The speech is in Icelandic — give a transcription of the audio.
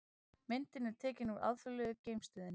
Myndin er tekin úr Alþjóðlegu geimstöðinni.